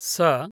स